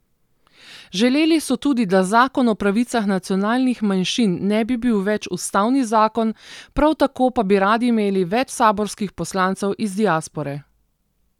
Želeli so tudi, da zakon o pravicah nacionalnih manjšin ne bi bil več ustavni zakon, prav tako pa bi radi imeli več saborskih poslancev iz diaspore.